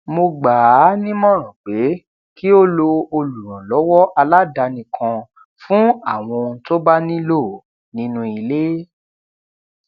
mo gbà á nímòràn pé kí ó lo olùrànlówó aládani kan fún àwọn ohun tó bá nílò nínú ilé